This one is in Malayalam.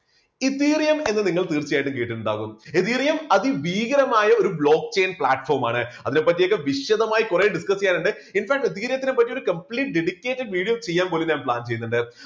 ethereum എന്ന് നിങ്ങൾ തീർച്ചയായിട്ടും കേട്ടിട്ടുണ്ടാവും ethereum അതിഭീകരമായ ഒരു block chain platform ആണ്. അതിനെപ്പറ്റി ഒക്കെ വിശദമായി കുറെ discuss ചെയ്യാനുണ്ട്. എന്നാലും ethereum നെ പറ്റി ഒരു complete dedicated video ചെയ്യാൻ പോലും ഞാൻ plan ചെയ്യുന്നുണ്ട്.